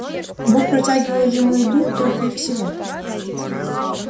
бог протягивал ему еду только и всего